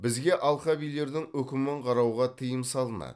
бізге алқабилердің үкімін қарауға тыйым салынады